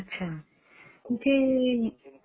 हं हं अच्छा